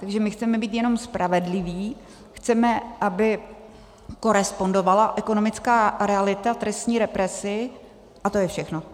Takže my chceme být jenom spravedliví, chceme, aby korespondovala ekonomická realita trestní represi, a to je všechno.